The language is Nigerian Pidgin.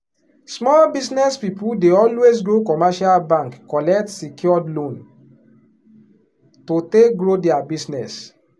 small business people dey always go commercial bank collect secured loan to take grow their business.